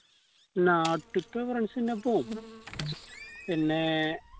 നാട്ടിത്തെ friends ൻ്റെപ്പോ പോവൂ പിന്നെ